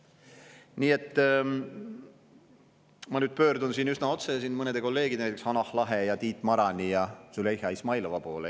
Nii et ma pöördun siin üsna otse mõne kolleegi, näiteks Hanah Lahe, Tiit Marani ja Züleyxa Izmailova poole.